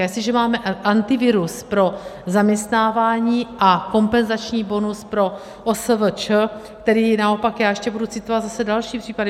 A jestliže máme Antivirus pro zaměstnávání a kompenzační bonus pro OSVČ, který naopak - já ještě budu citovat zase další případy.